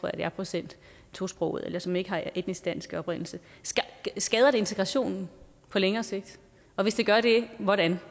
procent tosprogede eller som ikke er af etnisk dansk oprindelse skader det integrationen på længere sigt og hvis det gør det hvordan